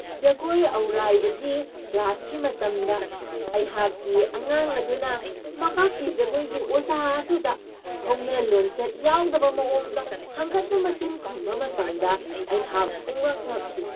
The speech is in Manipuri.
ꯖꯒꯣꯏ ꯑꯧꯔꯥꯏꯕꯒꯤ ꯀ꯭ꯂꯥꯁꯀꯤ ꯃꯇꯝꯗ ꯑꯩꯍꯥꯛꯀꯤ ꯑꯉꯥꯡ ꯑꯗꯨꯅ ꯃꯍꯥꯛꯀꯤ ꯖꯒꯣꯏꯒꯤ ꯑꯣꯖꯥ ꯑꯗꯨꯗ ꯍꯧꯅ ꯂꯣꯟꯆꯠ ꯌꯥꯎꯗꯕ ꯃꯑꯣꯡꯗ ꯍꯪꯒꯠꯅ ꯃꯆꯤꯟ ꯈꯨꯝꯕ ꯃꯇꯝꯗ ꯑꯩꯍꯥꯛ ꯄꯨꯡꯉꯛ ꯉꯛꯈꯤ ꯫